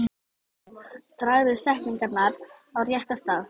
Dragðu setningar á rétta staði.